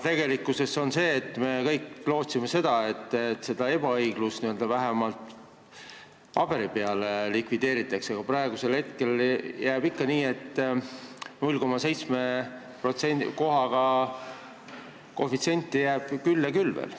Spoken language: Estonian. Tegelikult me kõik lootsime, et see ebaõiglus n-ö vähemalt paberi peal likvideeritakse, aga praegusel hetkel jääb ikka nii, et koefitsienti 0,7 jääb veel küll ja küll.